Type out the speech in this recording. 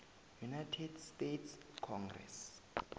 united states congress